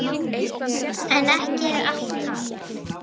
En ekki er allt talið.